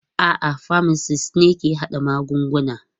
A'a, pharmacists ne ke haɗa magungunana.